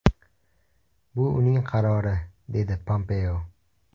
Bu uning qarori”, dedi Pompeo.